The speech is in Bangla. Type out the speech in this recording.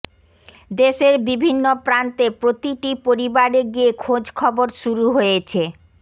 দেশের বিভিন্ন প্রান্তে প্রতিটি পরিবারে গিয়ে খোঁজখবর শুরু হয়েছে